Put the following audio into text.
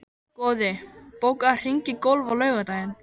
Goði, bókaðu hring í golf á laugardaginn.